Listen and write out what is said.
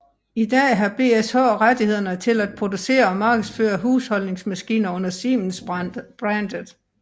I dag har BSH rettighederne til at producere og markedsføre husholdningsmaskiner under Siemens brandet